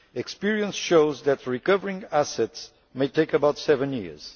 Experience shows that recovering assets may take about seven years.